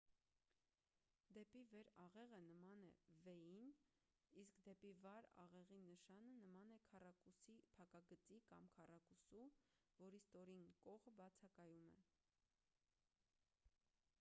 «դեպի վեր աղեղը» նման է v-ին իսկ «դեպի վար աղեղի նշանը» նման է քառակուսի փակագծի կամ քառակուսու որի ստորին կողը բացակայում է։